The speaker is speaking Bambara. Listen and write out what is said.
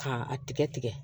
K'a tigɛ tigɛ